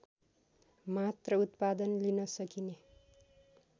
मात्र उत्पादन लिन सकिने